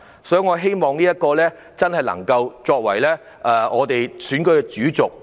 因此，我希望"向暴力說不"能夠成為我們這次選舉的主軸。